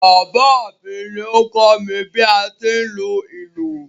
Bàbá mi ni o kọ́ mi bi a ti ń lu ìlú.